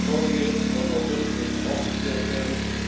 Die Vorgänge vom August müssen aufgeklärt werden.